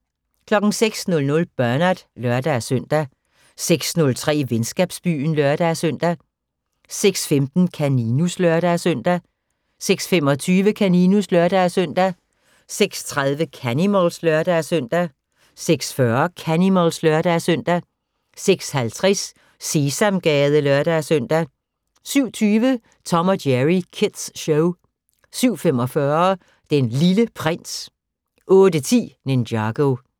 06:00: Bernard (lør-søn) 06:03: Venskabsbyen (lør-søn) 06:15: Kaninus (lør-søn) 06:25: Kaninus (lør-søn) 06:30: Canimals (lør-søn) 06:40: Canimals (lør-søn) 06:50: Sesamgade (lør-søn) 07:20: Tom & Jerry Kids Show 07:45: Den Lille Prins 08:10: Ninjago